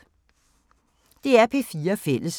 DR P4 Fælles